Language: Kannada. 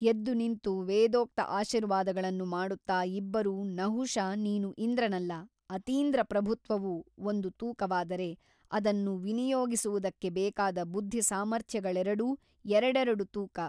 ಎದ್ದುನಿಂತು ವೇದೋಕ್ತ ಆಶೀರ್ವಾದಗಳನ್ನು ಮಾಡುತ್ತ ಇಬ್ಬರೂ ನಹುಷ ನೀನು ಇಂದ್ರನಲ್ಲ ಅತೀಂದ್ರ ಪ್ರಭುತ್ವವು ಒಂದು ತೂಕವಾದರೆ ಅದನ್ನು ವಿನಿಯೋಗಿಸುವುದಕ್ಕೆ ಬೇಕಾದ ಬುದ್ಧಿಸಾಮರ್ಥ್ಯಗಳೆರಡೂ ಎರಡೆರಡು ತೂಕ.